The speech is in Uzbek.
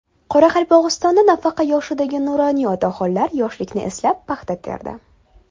Qoraqalpog‘istonda nafaqa yoshidagi nuroniy otaxonlar yoshlikni eslab paxta terdi.